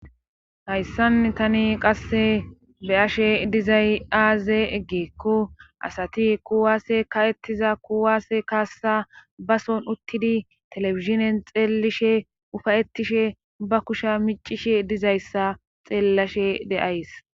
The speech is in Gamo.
hayssan tani qasse beashe dizay aaze eggeekko asati kuwaasse ka7ettiza kuwaase kaassa bason uttidi telefizinen xeelishe ufayettishe ba kusha micishe dizayssa xeellashe de7ays